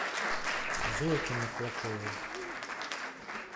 зойке маклаковой